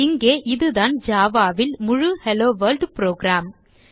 இங்கே இதுதான் Java ல் முழு ஹெல்லோவொர்ல்ட் புரோகிராம்